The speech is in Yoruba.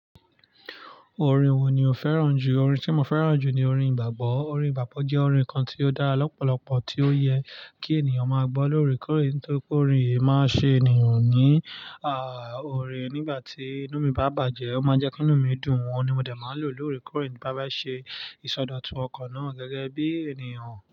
Orin wo ni o fẹ́ràn jù? Orin tí mo fẹ́ràn jù ni orin ìgbàgbọ́. Orin ìgbàgbọ́ jẹ́ orin kan tí ó dá lọ́pọ̀lọpọ̀ tí ó yẹ kí ènìyàn máa gbọ́ lóorekoore tó kórìń yìí máa ṣe ènìyàn ní, ah, oore nígbà tí inú mi bá bàjẹ́, ó máa jẹ́ kí inú mi dùn. Oun ni mo dẹ máa lò lórí kórìń bá máa ṣe ìsọdọ̀tun ọkọ̀ náà gẹ́gẹ́ bí ènìyàn.